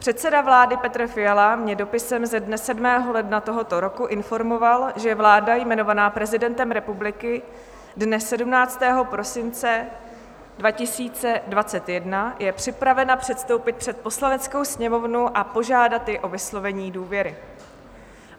Předseda vlády Petr Fiala mě dopisem ze dne 7. ledna tohoto roku informoval, že vláda jmenovaná prezidentem republiky dne 17. prosince 2021 je připravena předstoupit před Poslaneckou sněmovnu a požádat ji o vyslovení důvěry.